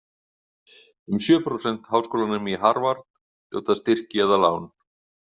Um sjö prósent háskólanema í Harvard hljóta styrki eða lán.